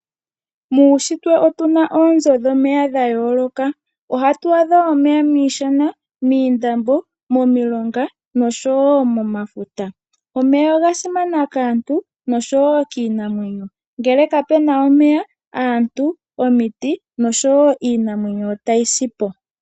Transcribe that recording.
Muushitwe otu na oonzo dhomeya dha yooloka. Ohatu adha omeya miishana, moondombe, momilonga nosho wo momafuta. Omeya oga simana kaantu nosho wo kiinamwenyo. Ngele kapu na omeya aantu, omiti nosho wo iinamwenyo otayi sipo.